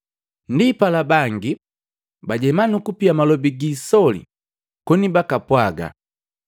Ndipala bangi bajema, nukupia malobi gi isoli koni bakapwaga,